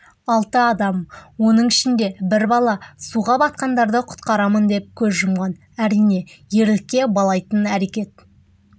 алты адам оның ішінде бір бала суға батқандарды құтқарамын деп көз жұмған әрине ерлікке балайтын әрекет